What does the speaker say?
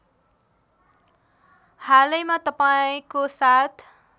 हालैमा तपाईँको साथ